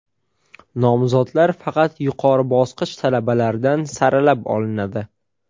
Nomzodlar faqat yuqori bosqich talabalaridan saralab olinadi.